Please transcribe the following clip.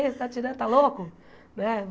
Você está tirando, está louco né?